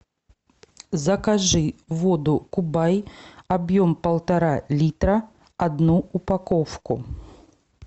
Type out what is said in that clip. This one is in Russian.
закажи воду кубай объем полтора литра одну упаковку